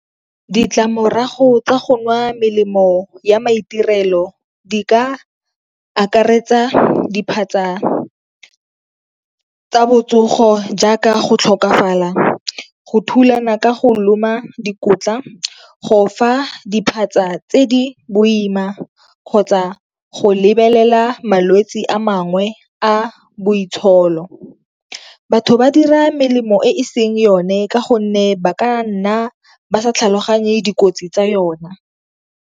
Ditlamorago tsa go nwa melemo ya maitirelo di ka akaretsa diphatsa tsa botsogo jaaka go tlhokafala, go thulana ka go loma dikotla, go fa diphatsa tse di boima kgotsa go lebelela malwetsi a mangwe a boitsholo. Batho ba dira melemo e seng yone ka gonne ba ka nna ba sa tlhaloganye dikotsi tsa yona.